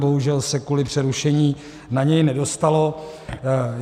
Bohužel se kvůli přerušení na něj nedostalo.